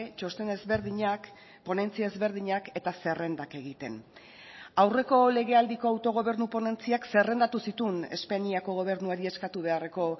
txosten ezberdinak ponentzia ezberdinak eta zerrendak egiten aurreko legealdiko autogobernu ponentziak zerrendatu zituen espainiako gobernuari eskatu beharreko